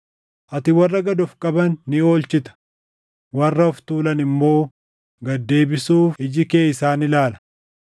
Ati warra gad of qaban ni oolchita; warra of tuulan immoo gad deebisuuf iji kee isaan ilaala.